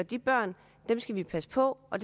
de børn skal vi passe på og